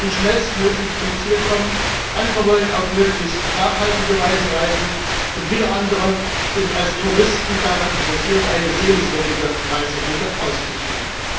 Einige wollen schnellstmöglich zum Ziel kommen, andere wollen auf möglichst nachhaltige Weise reisen, und wieder andere sind als Touristen daran interessiert, eine sehenswürdige Reiseroute auszusuchen.